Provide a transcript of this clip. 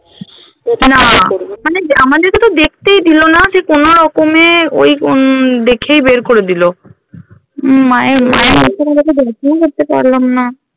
মানে আমাদেরকে তো দেখতেই দিলো না সেই কোনোরকমে ওই উম দেখেই বের করে দিলো উম মায়ের একটু ভালো করে দর্শন ও করতে পারলাম না